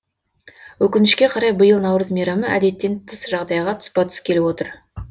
өкінішке қарай биыл наурыз мейрамы әдеттен тыс жағдайға тұспа тұс келіп отыр